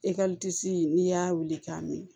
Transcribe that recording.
n'i y'a wuli k'a mi